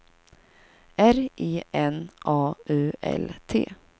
R E N A U L T